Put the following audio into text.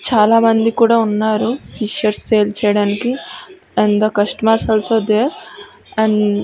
చాలా మంది కుడా ఉన్నారు ఫిషెస్ సేల్ చేయడానికి and the customers also there an --